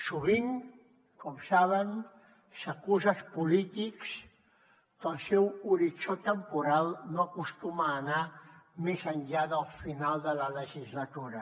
sovint com saben s’acusa els polítics que el seu horitzó temporal no acostuma a anar més enllà del final de la legislatura